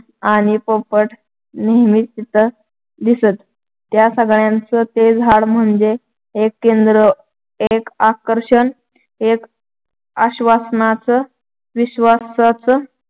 आणि पोपट नेहमी तिथं दिसत. त्या सगळ्याचं ते झाड म्हणजे एक केंद्र, एक आकर्षण, एक आश्‍वासनाचं, विश्‍वासाचं